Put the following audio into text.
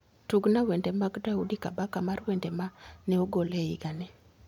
Tugna wende mag daudi kabaka mar wende ma ne ogol e higani